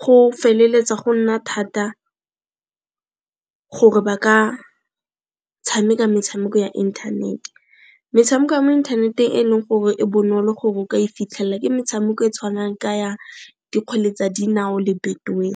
go feleletsa go nna thata gore ba ka tshameka metshameko ya internet. Metshameko ya mo inthaneteng e leng gore e bonolo gore o ka e fitlhela ke metshameko e tshwanang ka ya dikgwele tsa dinao le Betway.